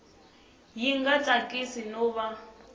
yi nga tsakisi no va